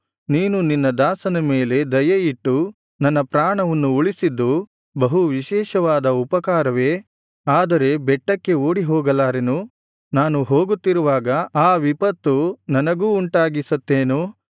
ನೀನು ನಿನ್ನ ದಾಸನ ಮೇಲೆ ದಯೆ ಇಟ್ಟು ನನ್ನ ಪ್ರಾಣವನ್ನು ಉಳಿಸಿದ್ದು ಬಹು ವಿಶೇಷವಾದ ಉಪಕಾರವೇ ಆದರೆ ಬೆಟ್ಟಕ್ಕೆ ಓಡಿ ಹೋಗಲಾರೆನು ನಾನು ಹೋಗುತ್ತಿರುವಾಗ ಆ ವಿಪತ್ತು ನನಗೂ ಉಂಟಾಗಿ ಸತ್ತೇನು